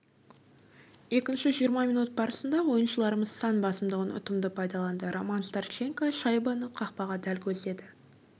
екінші жиырма минут барысында ойыншыларымыз сан басымдығын ұтымды пайдаланды роман старченко шайбаны қақпаға дәл көздеді